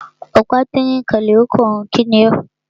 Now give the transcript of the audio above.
Ọ̀pá tínrín ó kanlẹ̀ ó kànrun. Kíni o?